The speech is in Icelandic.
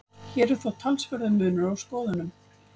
Hér er þó talsverður munur á skoðunum.